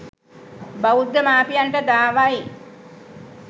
බෞද්ධ මාපියන්ට දාවයි.